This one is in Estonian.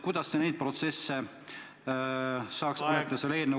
Kuidas sellist protsessi saaks vältida?